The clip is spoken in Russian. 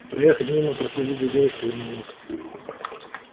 проехать мимо проследить за девушкой я не мог